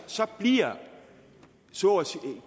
bliver